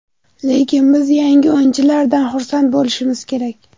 Lekin biz yangi o‘yinchilardan xursand bo‘lishimiz kerak.